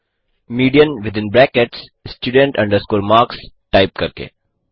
median within brackets student marks type करके